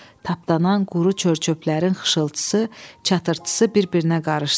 Tapdanan quru çör-çöplərin xışıltısı, çatırtısı bir-birinə qarışdı.